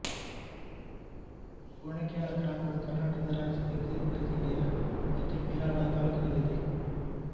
ವಣಕ್ಯಾಳ ಗ್ರಾಮವು ಕರ್ನಾಟಕ ರಾಜ್ಯದ ವಿಜಯಪುರ ಜಿಲ್ಲೆಯ ಮುದ್ದೇಬಿಹಾಳ ತಾಲ್ಲೂಕಿನಲ್ಲಿದೆ